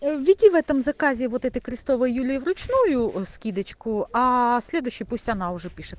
введи в этом заказе вот это крестовой юлии в ручную скидочку а следующий пусть она уже пишет